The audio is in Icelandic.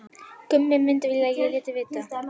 Gummi myndi vilja að ég léti vita.